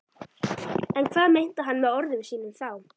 En hvað meinti hann með orðum sínum þá?